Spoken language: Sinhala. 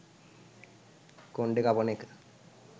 කොන්ඩේ කපන එක